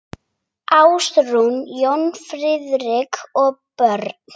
Ásrún, Jón Friðrik og börn.